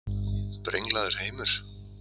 Brenglaður heimur?